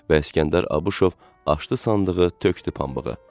Və İskəndər Abışov açdı sandığı, tökdü pambığı.